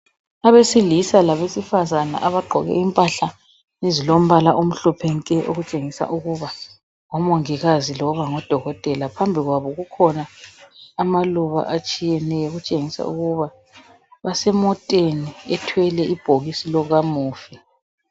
Abesilisa labesifazana abagqoke impahla ezilombala omhlophe nke okutshengisa ukuba ngomongikazi loba ngodokotela, phambi kwabo kukhona amaluba atshiyeneyo okutshengisa ukuba basemoteni ethwele ibhokisi likamufi.